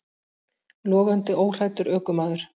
Logandi óhræddur ökumaður